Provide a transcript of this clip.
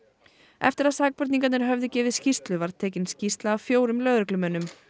eftir að sakborningarnir höfðu gefið skýrslu var tekin skýrsla af fjórum lögreglumönnum